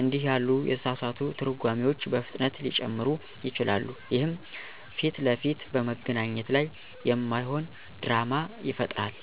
እንዲህ ያሉ የተሳሳቱ ትርጓሜዎች በፍጥነት ሊጨምሩ ይችላሉ፣ ይህም ፊት ለፊት በመገናኘት ላይ የማይሆን ድራማ ይፈጥራል።